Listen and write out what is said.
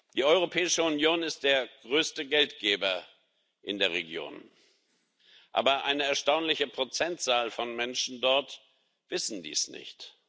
Die Europäische Union ist der größte Geldgeber in der Region, Aber eine erstaunliche Prozentzahl von Menschen dort weiß dies nicht.